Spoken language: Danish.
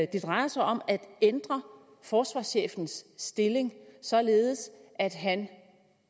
det drejer sig om at ændre forsvarschefens stilling således at han